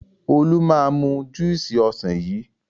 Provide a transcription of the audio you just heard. Olú máa mu júúsì ọsàn yìí.